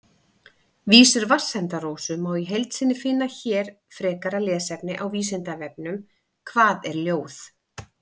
Vísur Vatnsenda-Rósu má í heild sinni finna hér Frekara lesefni á Vísindavefnum: Hvað er ljóð?